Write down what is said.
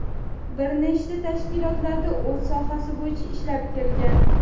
bir nechta tashkilotlarda o‘z sohasi bo‘yicha ishlab kelgan.